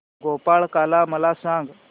गोपाळकाला मला सांग